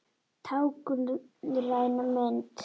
Táknræn mynd.